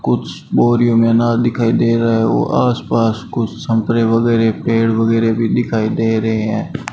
कुछ बोरियो में अनार दिखाई दे रहा है व आसपास कुछ संतरे वगैरा पेड़ वगैरा भी दिखाई दे रहे है।